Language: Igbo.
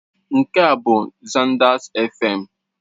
Nke a bụ Zanders Fm.